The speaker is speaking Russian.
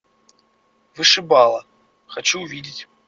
вышибала хочу увидеть